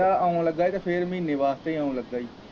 ਕਹਿੰਦਾ ਆਉਣ ਲੱਗਾ ਹੀ ਤੇ ਫਿਰ ਮਹੀਨੇ ਵਾਸਤੇ ਹੀ ਆਉਣ ਲੱਗਾ ਹੀ।